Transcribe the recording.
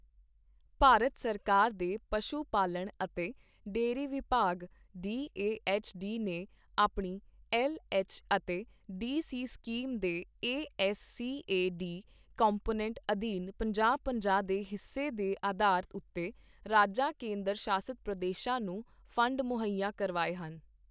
ਭਾਰਤ ਸਰਕਾਰ ਦੇ ਪਸ਼ੂ ਪਾਲਣ ਅਤੇ ਡੇਅਰੀ ਵਿਭਾਗ ਡੀ ਏ ਐੱਚ ਡੀ ਨੇ ਆਪਣੀ ਐੱਲ ਐੱਚ ਅਤੇ ਡੀ ਸੀ ਸਕੀਮ ਦੇ A S C A D component ਅਧੀਨ ਪੰਜਾਹ-ਪੰਜਾਹ ਦੇ ਹਿੱਸੇ ਦੇ ਆਧਾਰ ਉੱਤੇ ਰਾਜਾਂ ਕੇਂਦਰ ਸ਼ਾਸਿਤ ਪ੍ਰਦੇਸ਼ਾਂ ਨੂੰ ਫੰਡ ਮੁਹੱਈਆ ਕਰਵਾਏ ਹਨ।